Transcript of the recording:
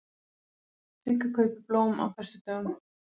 Sigga kaupir blómin á föstudögum.